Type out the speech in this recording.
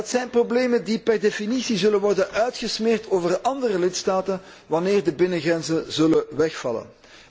En dat zijn de problemen die per definitie zullen worden uitgesmeerd over de andere lidstaten, wanneer de binnengrenzen zullen wegvallen.